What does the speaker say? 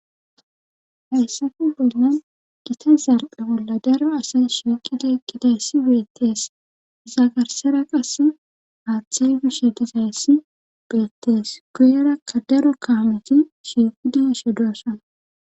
hayssafe bollan gita zarphe bolla daro asay shiqidi eqqidayssi beettees iza garssera qassi haaththey bishe dizayssi beettees guyerakka daro kaameti shiiqidi doosona.